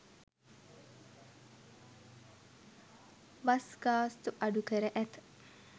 Bus ගාස්තු අඩු කර ඇත.